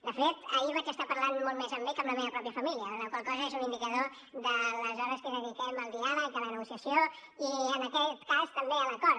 de fet ahir vaig estar parlant molt més amb ell que amb la meva mateixa família la qual cosa és un indicador de les hores que dediquem al diàleg a la negociació i en aquest cas també a l’acord